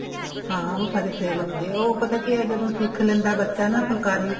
ਹਾਂ ਉਹ ਸਾਡੇ sale ਹੁੰਦੇ ਆ ਉਹ ਪਤਾ ਕੀ ਹੈ ਜਦੋਂ ਸਿੱਖ ਲੈਂਦਾ ਬੱਚਾ ਨਾ ਫੁਲਕਾਰੀ